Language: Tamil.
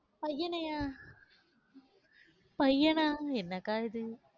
பையனையா பையனா? என்னக்கா, இது